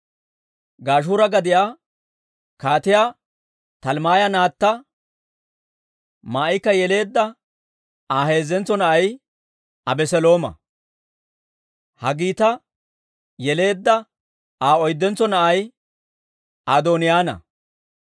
Gashuura gadiyaa Kaatiyaa Talmmaaya naatta Maa'ika yeleedda Aa heezzentso na'ay Abeselooma. Haggiita yeleedda Aa oyddentso na'ay Adooniyaana.